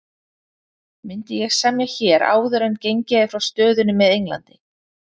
Myndi ég semja hér áður en gengið er frá stöðunni með England?